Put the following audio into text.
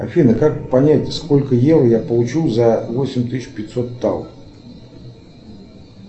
афина как понять сколько евро я получу за восемь тысяч пятьсот тал